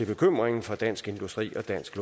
bekymringen fra dansk industri og dansk